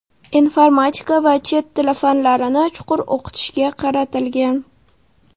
informatika va chet tili fanlarini chuqur o‘qitishga qaratilgan.